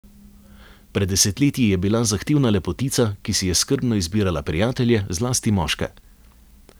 Pred desetletji je bila zahtevna lepotica, ki si je skrbno izbirala prijatelje, zlasti moške.